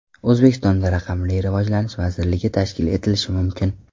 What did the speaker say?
O‘zbekistonda raqamli rivojlanish vazirligi tashkil etilishi mumkin.